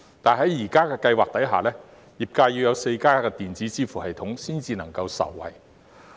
但是，在現時計劃下，業界要採用4家電子支付系統裏其中一家才會能夠受惠。